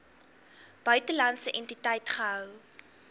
buitelandse entiteit gehou